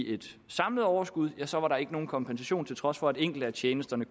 et samlet overskud ja så er der ikke nogen kompensation til trods for at enkelte af tjenesterne